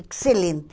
Excelente.